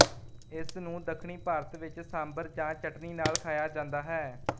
ਇਸਨੂੰ ਦੱਖਣੀ ਭਾਰਤ ਵਿੱਚ ਸਾਮਬਰ ਜਾਂ ਚਟਨੀ ਨਾਲ ਖਾਇਆ ਜਾਂਦਾ ਹੈ